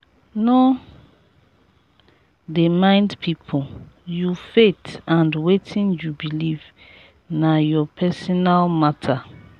no dey mind pipu you faith and wetin you beliv na your personal mata.